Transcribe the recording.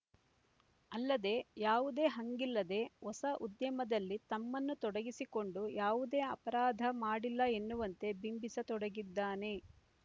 ಅಲ್ಲದೆ ಯಾವುದೇ ಹಂಗಿಲ್ಲದೆ ಹೊಸ ಉದ್ಯಮದಲ್ಲಿ ತಮ್ಮನ್ನು ತೊಡಗಿಸಿಕೊಂಡು ಯಾವುದೇ ಅಪರಾಧ ಮಾಡಿಲ್ಲ ಎನ್ನುವಂತೆ ಬಿಂಬಿಸ ತೊಡಗಿದ್ದಾನೆ